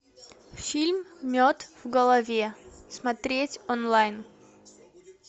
фильм мед в голове смотреть онлайн